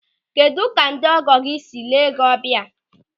Kedụ ka ndị ọgọ gị sịrị lee gị ọbịa?